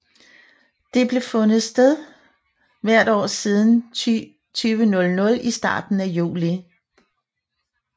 Det har fundet sted hvert år siden 2000 i starten af juli